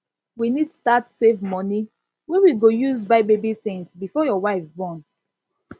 we need start save money wey we go use buy baby things before your wife born